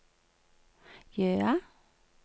Jøa